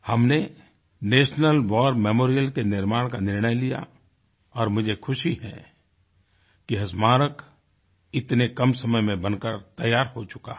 हमने national war memorial के निर्माण का निर्णय लिया और मुझे खुशी है कि यह स्मारक इतने कम समय में बनकर तैयार हो चुका है